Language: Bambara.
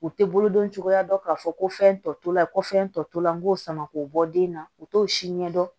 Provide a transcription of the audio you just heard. U tɛ bolodencogoya dɔn k'a fɔ ko fɛn tɔ tola kɔ fɛn tɔ la an b'o sama k'o bɔ den na u t'o si ɲɛdɔn